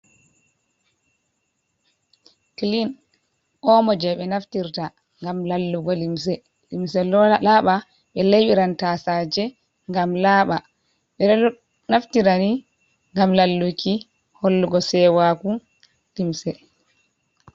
Klin omo je ɓe naftirta gam lallugo limse, limse laaɓa be leyɓiran tasaje ngam laaɓa ɓeɗo naftirani gam lalluki, hollugo sewaku limse.